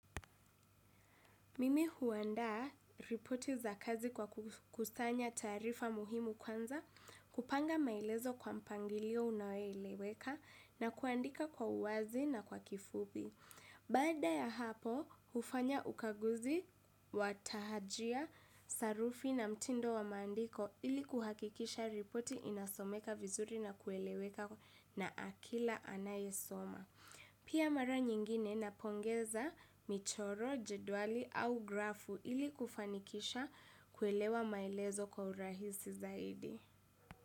Mimi huandaa ripoti za kazi kwa kukusanya taarifa muhimu kwanza, kupanga maelezo kwa mpangilio unayoeleweka na kuandika kwa uwazi na kwa kifupi. Baada ya hapo, hufanya ukaguzi, wa tahajia, sarufi na mtindo wa maandiko ili kuhakikisha ripoti inasomeka vizuri na kueleweka na kila anayesoma. Pia mara nyingine napongeza michoro, jedwali au grafu ili kufanikisha kuelewa maelezo kwa urahisi zaidi.